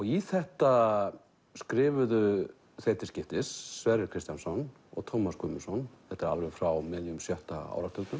í þetta skrifuðu þeir til skiptis Sverrir Kristjánsson og Tómas Guðmundsson þetta er alveg frá miðjum sjötta áratugnum